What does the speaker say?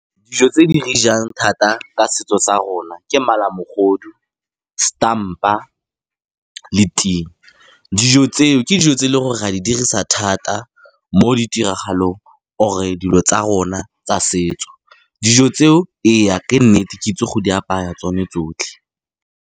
Dijo tse di re jang thata ka setso sa rona ke malamogodu, setampa le ting. Dijo tseo ke dijo tse e leng gore re a di dirisa thata mo ditiragalong or-e dilo tsa rona tsa setso, dijo tseo ee, ke nnete ke itse go di apaya tsone tsotlhe.